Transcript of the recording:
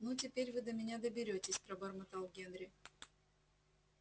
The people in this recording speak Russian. ну теперь вы до меня доберётесь пробормотал генри